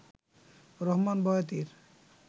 Rahman বয়াতির